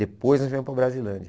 Depois nós viemos para a Brasilândia.